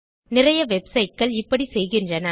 நிறைய வெப்சைட் கள் இப்படி செய்கின்றன